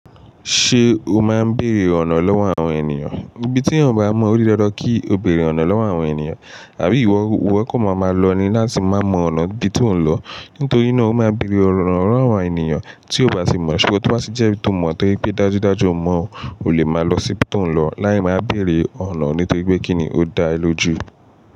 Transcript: Ṣé o máa ń bèrè ọ̀nà lọ́wọ́ àwọn ènìyàn? Ni bí tí eeyan o bá mọ̀ o dí dandan kí o bèrè ọ̀nà lọ́wọ́ àwọn ènìyàn. Àbí ìwọ iwo kan maa máa lọ ni láti máa mọ ọ̀nà ibi tí òun ń lọ. Nítorí náà o máa bèrè ọ̀nà lọ́wọ́ àwọn ènìyàn tí o bá ti mọ̀. Ṣùgbọ́n tí wá sì jẹ́ tó mọ̀ to jepe pé dájúdájú o mọ̀, o lè máa lọ síbi tí òun ń lọ, lẹ́yìn máa bèrè ọ̀nà nítorí pé kí ni ó da ẹ lóju.